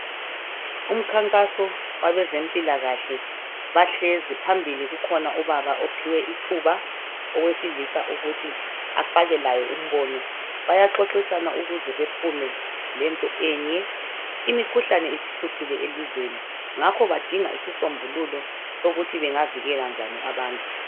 Umkhankaso wabezempilakahle bahlezi phambili kukhona ubaba ophiwe ithuba owesilisa ukuthi afake laye umbono bayaxoxisana ukuze bephume lento enye imikhuhlane isihluphile elizweni badinga isisombululo sokuthi bengavikela njani abantu.